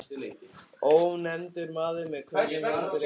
Ónefndur maður: Með hverjum heldurðu í enska?